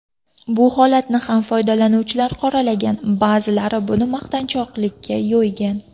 Bu holatni ham foydalanuvchilar qoralagan, ba’zilar buni maqtanchoqlikka yo‘ygan.